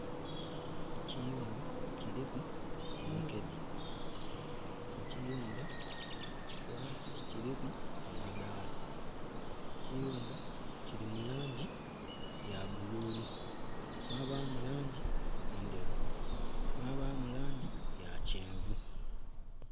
Ekiyumba kiriku emikedhe, ekiyumba ghansi kiriku amadhala, ekiyumba kiri mulangi yabbululu mwabamu langi endheru, mwabamu langi yakyenvu.